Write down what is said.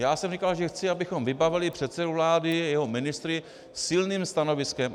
Já jsem říkal, že chci, abychom vybavili předsedu vlády, jeho ministry silným stanoviskem.